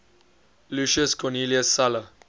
lucius cornelius sulla